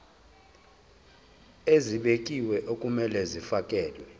ezibekiwe okumele kufakelwe